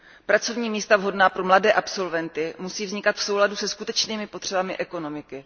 Pracovní místa vhodná pro mladé absolventy musí vznikat v souladu se skutečnými potřebami ekonomiky.